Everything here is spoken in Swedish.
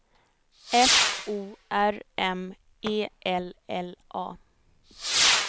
F O R M E L L A